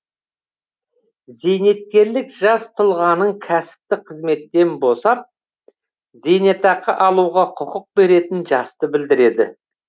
зейнеткерлік жас тұлғаның кәсіптік қызметтен босап зейнетақы алуға құқық беретін жасты білдіреді